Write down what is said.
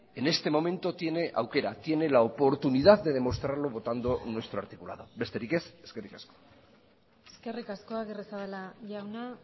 en este momento tiene aukera tiene la oportunidad de demostrarlo votando nuestro articulado besterik ez eskerrik asko eskerrik asko agirrezabala jauna